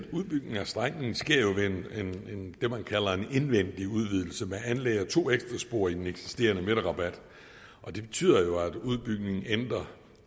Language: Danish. udbygningen af strækningen sker ved det man kalder en indvendig udvidelse man anlægger to ekstra spor i den eksisterende midterrabat og det betyder jo at udbygningen